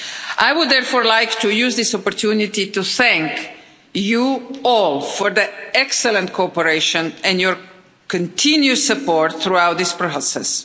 I would therefore like to use this opportunity to thank you all for the excellent cooperation and your continued support throughout this process.